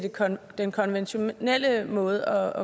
den konventionelle måde